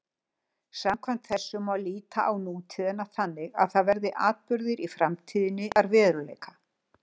Samkvæmt þessu má líta á nútíðina þannig að þar verði atburðir framtíðarinnar að veruleika.